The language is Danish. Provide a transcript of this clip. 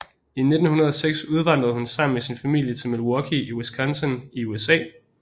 I 1906 udvandrede hun sammen med sin familie til Milwaukee i Wisconsin i USA